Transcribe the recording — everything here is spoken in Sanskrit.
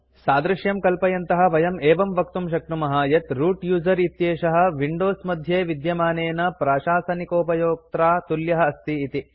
सादृश्यं कल्पयन्तः वयं एवं वक्तुं शक्नुमः यत् रूत् यूजर इत्येषः विंडोज मध्ये विद्यमानेन प्राशासनिकोपयोक्त्रा तुल्यः अस्ति इति